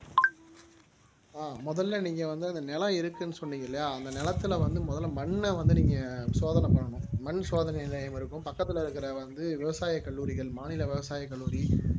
ஆஹ் முதல்ல நீங்க வந்து அந்த நிலம் இருக்குன்னு சொன்னீங்க இல்லையா அந்த நிலத்தில வந்து முதல்ல மண்ணை வந்து நீங்க சோதனை பண்ணணும் மண் சோதனை நிலையம் இருக்கும் பக்கத்துல இருக்கிற வந்து விவசாய கல்லூரிகள் மாநில விவசாயி கல்லூரி